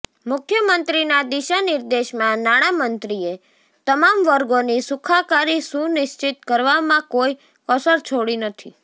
મુખ્યમંત્રીના દિશાનિર્દેશમાં નાણામંત્રીએ તમામ વર્ગોની સુખાકારી સુનિશ્ચિત કરવામાં કોઈ કસર છોડી નથી